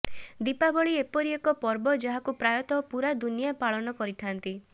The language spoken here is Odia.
ଦୀପାବଳି ଏପରି ଏକ ପର୍ବ ଯାହାକୁ ପ୍ରାୟତଃ ପୂରା ଦୁନିଆ ପାଳନ କରିଥାନ୍ତି